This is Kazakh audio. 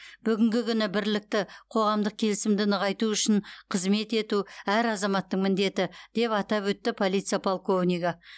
бүгінгі күні бірлікті қоғамдық келісімді нығайту үшін қызмет ету әр азаматтың міндеті деп атап өтті полиция полковнигі